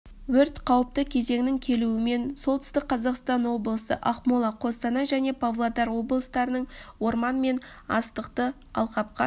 өрт қауіпті кезеңнің келуімен солтүстік қазақстан облысы ақмола қостанай және павлодар облыстарының орман мен астықты алқапқа